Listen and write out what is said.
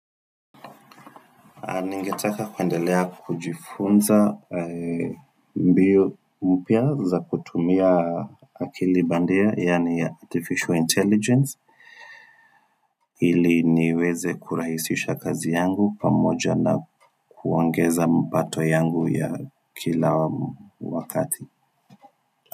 Ningetaka kuendelea kujifunza mbio mpya za kutumia akili bandia yani artificial intelligence ili niweze kurahisisha kazi yangu pamoja na kuongeza mpato yangu ya kila wakati.